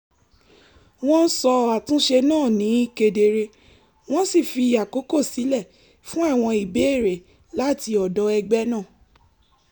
wọ́n sọ àtúnṣe náà ní kedere wọ́n sì fi àkókò sílẹ̀ fún àwọn ìbéèrè láti ọ̀dọ̀ ẹgbẹ́ náà